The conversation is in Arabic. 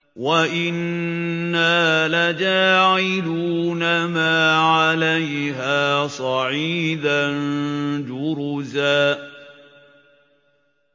وَإِنَّا لَجَاعِلُونَ مَا عَلَيْهَا صَعِيدًا جُرُزًا